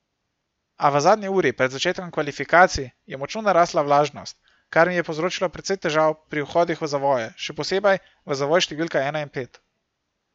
A v zadnji uri pred začetkom kvalifikacij je močno narastla vlažnost, kar mi je povzročilo precej težav pri vhodih v zavoje, še posebej v zavoj številka ena in pet.